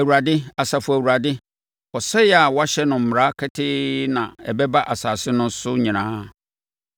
Awurade, Asafo Awurade, ɔsɛeɛ a wahyɛ ho mmara ketee na ɛbɛba asase no so nyinaa.